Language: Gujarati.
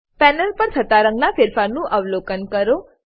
પેનલ પર થતા રંગના ફેરફાર નું અવલોકન કરો